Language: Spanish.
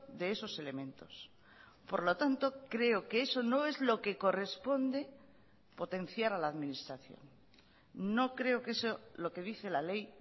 de esos elementos por lo tanto creo que eso no es lo que corresponde potenciar a la administración no creo que eso lo que dice la ley